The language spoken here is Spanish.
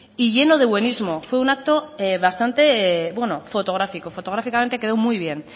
y llenos de buenismo fue un acto bastante bueno fotográfico fotográficamente quedó muy bien